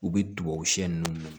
U bɛ tubabu siyɛn nunnu